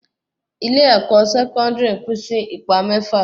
ilé-ẹ̀kọ́ Sẹkọndiri Pin Si ìpele mẹ́fà